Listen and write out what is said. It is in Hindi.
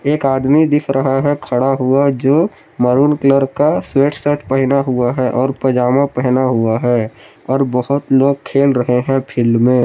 एक आदमी दिख रहा है खड़ा हुआ जो मैरून कलर का स्वेत शर्ट पेहना हुआ है और पजामा पेहना हुआ है और बहोत लोग खेल रहे हैं फील्ड में।